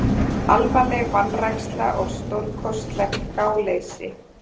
Alvarleg vanræksla og stórkostlegt gáleysi